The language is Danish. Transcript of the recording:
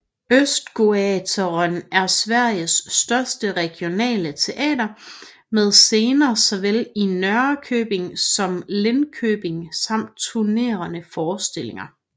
Östgötateatern er Sveriges største regionale teater med scener såvel i Norrköping som Linköping samt turnerende forestillinger